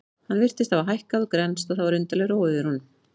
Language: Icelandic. Hann virtist hafa hækkað og grennst og það var undarleg ró yfir honum.